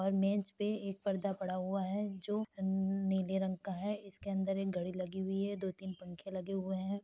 और मेज़ पे एक पर्दा पड़ा हुआ है जो न्न नीले रंग का है। इसके अंदर एक घड़ी लगी हुई है। दो तीन पंखे लगे हुए हैं।